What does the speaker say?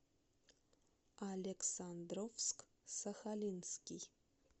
александровск сахалинский